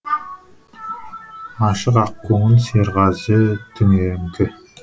ашық ақ көңіл серғазы түнеріңкі